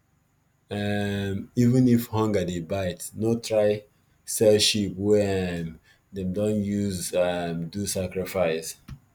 um even if hunger dey bite no try sell sheep wey um dem don use um do sacrifice